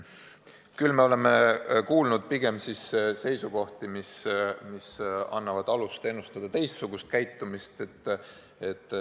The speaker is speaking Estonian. Samas me oleme pigem kuulnud seisukohti, mis annavad alust ennustada teistsugust käitumist.